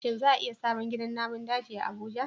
Shin za a yi sabon gidan namun daji a Abuja?